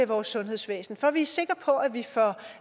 vores sundhedsvæsen for at vi er sikre på at vi får